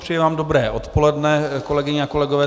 Přeji vám dobré odpoledne, kolegyně a kolegové.